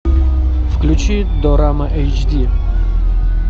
включи дорама эйч ди